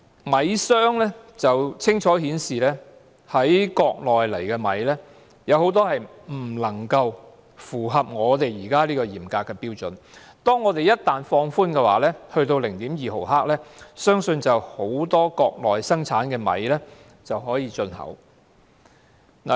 米商清楚顯示，國內的食米未能符合現時嚴格的標準，倘若本港放寬有關標準至 0.2 毫克，相信很多國內生產的食米便可以進口香港。